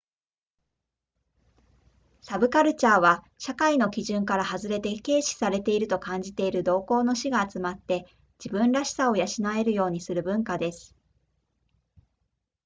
サブカルチャーは社会の基準から外れて軽視されていると感じている同好の士が集まって自分らしさを養えるようにする文化です